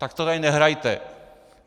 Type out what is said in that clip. Tak to tady nehrajte.